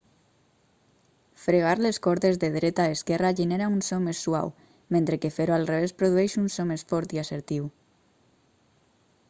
fregar les cordes de dreta a esquerra genera un so més suau mentre que fer-ho al revés produeix un so més fort i assertiu